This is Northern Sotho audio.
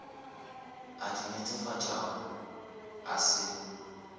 a di netefatšago a se